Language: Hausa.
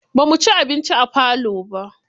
Ba muci abinci a falo ba.